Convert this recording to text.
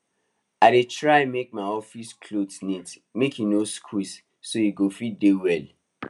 i dey try make my office clothes neat make e no squeeze so e go fit dey well